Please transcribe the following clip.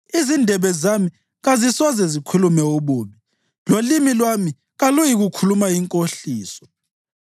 izindebe zami kazisoze zikhulume ububi, lolimi lwami kaluyikukhuluma inkohliso.